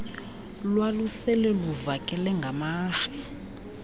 lwalusele luvakele ngamarhe